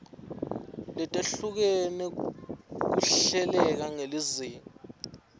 letehlukene kuhleleke ngelizinga